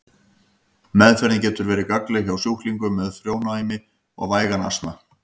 Meðferðin getur verið gagnleg hjá sjúklingum með frjónæmi og vægan astma.